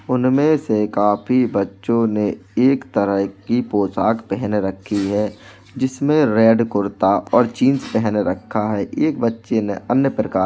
उनमें से काफी बच्चों ने एक तरह की पोशाक पहन रखी है जिसमें रेड कुर्ता और जीन्स पहन रखा है। एक बच्चे ने अन्य प्रकार --